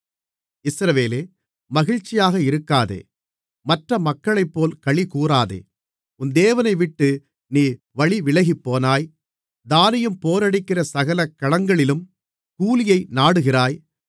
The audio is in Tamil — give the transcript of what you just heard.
இஸ்ரவேலே மகிழ்ச்சியாக இருக்காதே மற்ற மக்களைப்போல் களிகூராதே உன் தேவனைவிட்டு நீ வழிவிலகிப்போனாய் தானியம் போரடிக்கிற சகல களங்களிலும் கூலியை நாடுகிறாய்